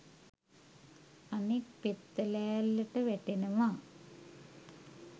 අනෙක් පෙත්ත ලෑල්ලට වැටෙනවා